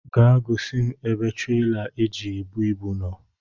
Gaa gosi m ebe traila e ji ebu ibu nọ